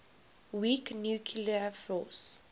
weak nuclear force